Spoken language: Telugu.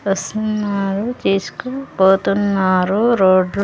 వస్తున్నారు తీసుకు పోతున్నారు రోడ్ లో.